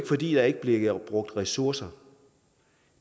fordi der ikke bliver brugt ressourcer